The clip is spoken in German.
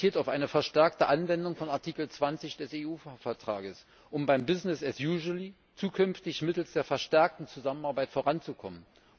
Es orientiert auf eine verstärkte Anwendung von Artikel 20 des EU Vertrags, um beim business as usual zukünftig mittels der verstärkten Zusammenarbeit voranzukommen.